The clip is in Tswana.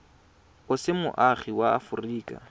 o se moagi wa aforika